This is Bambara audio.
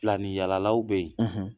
Filani yaalalaw bɛ yen